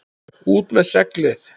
ÚT MEÐ SEGLIÐ!